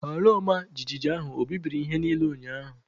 Ala ọmajiji ahụ ọ̀ bibiri ihe niile ụnyahụ?